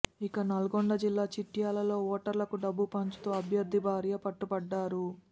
ఇక నల్గొండ జిల్లా చిట్యాలలో ఓటర్లకు డబ్బు పంచుతూ అభ్యర్థి భార్య పట్టుబడ్డారు